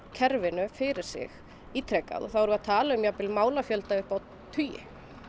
kerfinu fyrir sig ítrekað og þá erum við að taka um málafjölda upp á tugi